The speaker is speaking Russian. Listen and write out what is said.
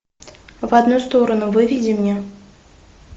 в одну сторону выведи мне